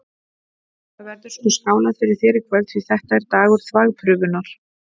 Það verður sko skálað fyrir þér í kvöld, því þetta er dagur þvagprufunnar!